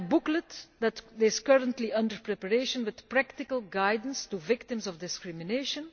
We have a booklet which is currently under preparation, with practical guidance for victims of discrimination.